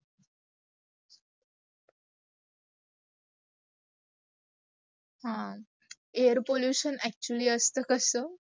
हा air pollution actually असत् कस